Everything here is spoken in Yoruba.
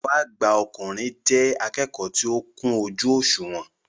Akẹ́kọ̀ọ́ àgbà ọkùnrin jẹ́ akẹ́kọ̀ọ́ tó kún ojú òṣùwọ̀n